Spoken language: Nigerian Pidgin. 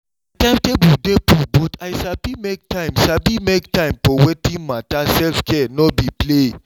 my timetable dey full but i sabi make time sabi make time for wetin matter self-care no be play.